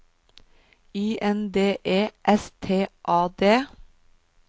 Y N D E S T A D